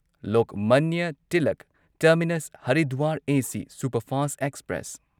Lokmanya Tilak terminus Haridwar AC superfast express